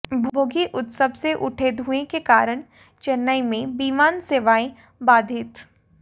भोगी उत्सव से उठे धुएं के कारण चेन्नई में विमान सेवाएं बाधित